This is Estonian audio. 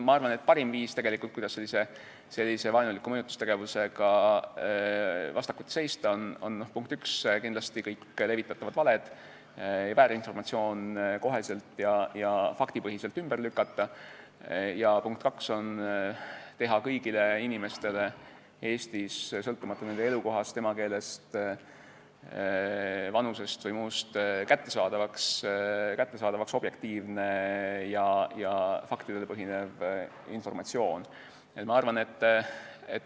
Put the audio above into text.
Ma arvan, et parim viis, kuidas sellise vaenuliku mõjutustegevusega vastakuti seista, on see, punkt 1, et kindlasti kõik levitatavad valed ja väärinformatsioon tuleb kohe ja faktipõhiselt ümber lükata, punkt 2, tuleb teha kõigile inimestele Eestis sõltumata nende elukohast, emakeelest, vanusest või muust kättesaadavaks objektiivne ja faktipõhine informatsioon.